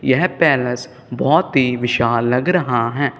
यह पैलेस बहोत ही विशाल लग रहा है।